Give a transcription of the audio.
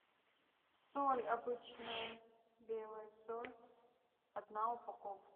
соль обычная белая соль одна упаковка